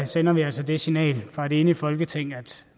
sender vi altså det signal fra et enigt folketing at